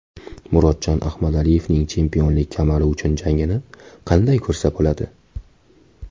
Murodjon Ahmadaliyevning chempionlik kamari uchun jangini qanday ko‘rsa bo‘ladi?.